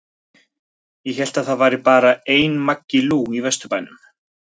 Ég hélt að það væri bara einn Maggi Lú í Vesturbænum?